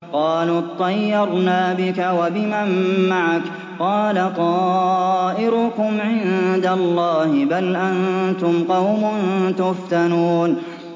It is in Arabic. قَالُوا اطَّيَّرْنَا بِكَ وَبِمَن مَّعَكَ ۚ قَالَ طَائِرُكُمْ عِندَ اللَّهِ ۖ بَلْ أَنتُمْ قَوْمٌ تُفْتَنُونَ